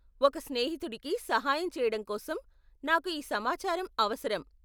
ఒక స్నేహితుడికి సహాయం చేయడం కోసం నాకు ఈ సమాచారం అవసరం.